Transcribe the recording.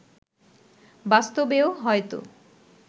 বাস্তবেও হয়তো